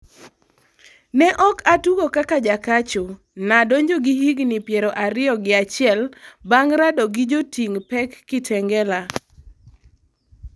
Ne ok atugo kaka jakacho, nadonjo gi higni piero ariyo gi achiel bang' rado gi joting' pek Kitengela'